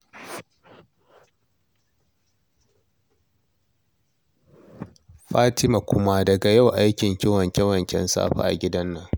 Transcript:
Fatima kuma, daga yau aikinki wanke-wanken safe a gidan nan